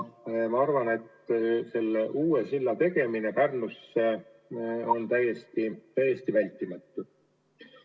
Ma arvan, et uue silla tegemine Pärnusse on täiesti vältimatu.